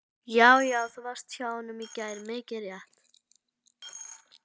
Já, já. þú varst hjá honum í gær, mikið rétt!